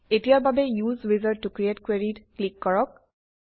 এতিয়াৰ বাবে উচে উইজাৰ্ড ত ক্ৰিএট Query ত ক্লিক কৰক